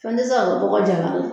Fɛn tɛ se ka kɛ dɔgɔ jalan kan